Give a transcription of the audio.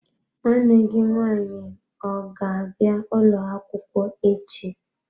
Nwanne gi nwanyi ọ ga-abia ụlọ akwukwo echi?